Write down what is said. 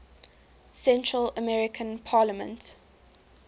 central american parliament